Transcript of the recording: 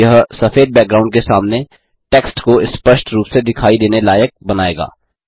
यह सफेद बैकग्राउंड के सामने टेक्स्ट को स्पष्ट रूप से दिखाई देने लायक बनायेगा